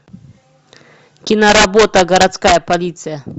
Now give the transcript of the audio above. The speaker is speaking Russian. киноработа городская полиция